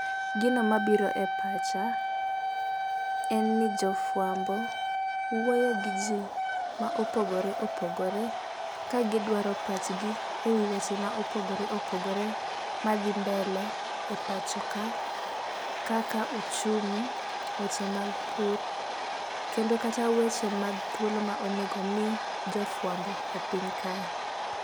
Gino mabiro e pacha en ni jofwambo wuoyo gi jii ma opogore opogore ka gidwaro pachgi ewi weche ma opogore opogore madhi mbele e pacho ka kaka uchumi, weche mag pur kendo kata weche mag thuolo ma onego mi jofwambo e piny kae.